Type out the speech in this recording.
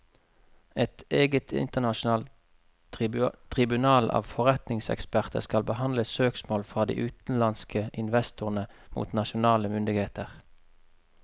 Et eget internasjonalt tribunal av forretningseksperter skal behandle søksmål fra de utenlandske investorene mot nasjonale myndigheter.